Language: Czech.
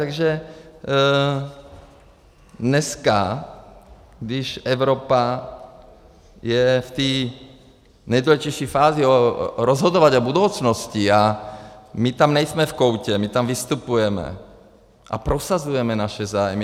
Takže dneska, když Evropa je v té nejdůležitější fázi rozhodování o budoucnosti - a my tam nejsme v koutě, my tam vystupujeme a prosazujeme naše zájmy.